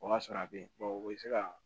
O y'a sɔrɔ a bɛ yen o bɛ se ka